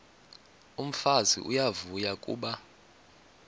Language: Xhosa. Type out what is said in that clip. umfazi uyavuya kuba